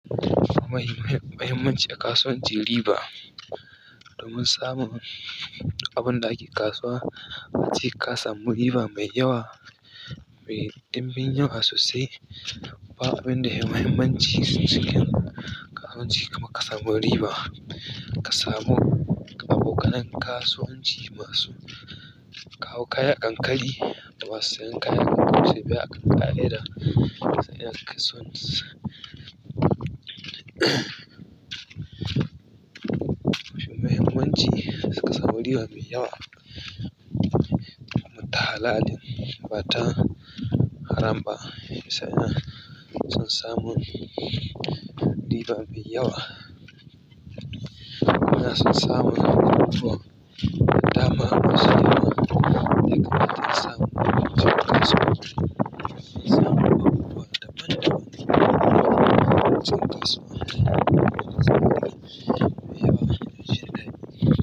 Muhimmanci a kasuwanci riba. Domin samun abun da ake kasuwa ace kasamu riba mai yawa. Mai ɗimbin yawa sosai. Ba abinda yai mahimmaci cikin kasuwanci kamar kasamu riba. Ka samu abokanan kasuwanci masu kawo kaya ankari. Da masu sayan kaya a leda sun iya kasuwanci. Muhimmanci ka samu riba mai yawa. Ta halali bata haram ba sannan san samu riba mai yawa. Na sun samu abubuwa da dama masu yawa. Da kuma sun samu masu kasuwanci sun samu abubuwa daban daban masu kasuwa da masu kasuwa mai yawa shekarar.